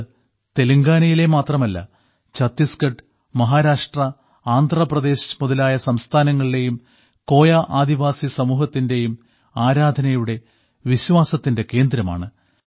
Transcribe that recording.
ഇത് തെലുങ്കാനയിലെ മാത്രമല്ല ഛത്തീസ്ഗഢ് മഹാരാഷ്ട്ര ആന്ധ്രാപ്രദേശ് മുതലായ സംസ്ഥാനങ്ങളിലെയും കോയാ ആദിവാസി സമൂഹത്തിന്റെയും ആരാധനയുടെ വിശ്വാസത്തിന്റെ കേന്ദ്രമാണ്